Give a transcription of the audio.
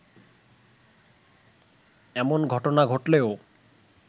এমন ঘটনা ঘটলেও